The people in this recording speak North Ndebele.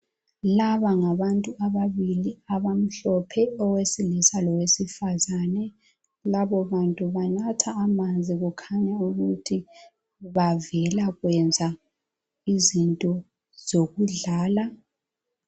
Laba ngabathu ababili abamhlophe owesilisa lowesifazane, labo bantu banatha amanzi kukhanya ukuthi bavela kwenza izinto zokudlala.